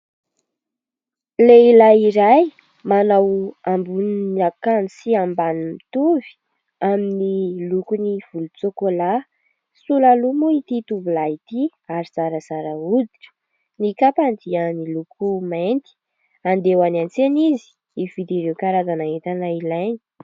Lehilahy iray manao ambonin'akanjo sy ambaniny mitovy, amin'ny lokony volontsôkôlà, sola loha moa ity tovolahy ity ary zarazara hoditra, ny kapany dia miloko mainty ; andeha ho any an-tsena izy hividy ireo karazana entana ilaina.